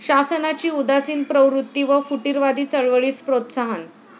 शासनाची उदासीन प्रवृत्ती व फुटीरवादी चळवळीस प्रोत्साहन